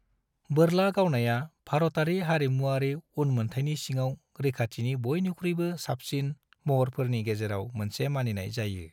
बोरला गावनाया भारतारि हारिमुआरि उन्मोन्थायनि सिङाव रैखाथिनि बायनिख्रुयबो साबसिन महरफोरनि गेजेराव मोनसे मानिनाय जायो।